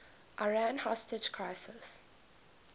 iran hostage crisis